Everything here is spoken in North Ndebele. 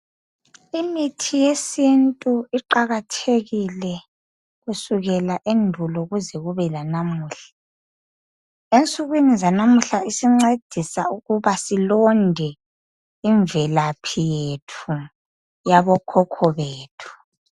Imithi yesintu iqakathekile kusukela endulo kuze kube lanamuhla ensukwini zanamuhla isincedisa ukuba silonde imvelaphi yethu yabo khokho bethu.